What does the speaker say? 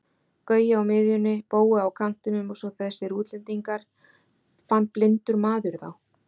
Gaui á miðjunni, Bói á kantinum og svo þessir útlendingar, fann blindur maður þá?